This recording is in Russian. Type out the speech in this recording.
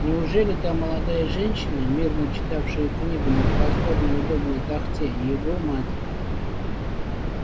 неужели та молодая женщина мирно читавшая книгу на просторной удобной тахте его мать